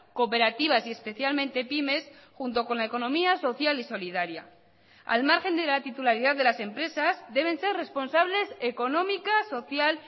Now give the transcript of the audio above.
cooperativas y especialmente pymes junto con la economía social y solidaria al margen de la titularidad de las empresas deben ser responsables económicas social